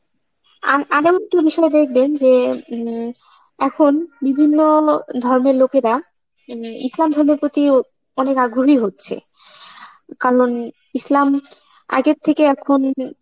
আম বিষয় দেখবেন যে হম এখন বিভিন্ন লো~ ধর্মের লোকেরা মানে ইসলাম ধর্মের প্রতি অনেক আগ্রহী হচ্ছে, কারণ ইসলাম আগের থেকে এখন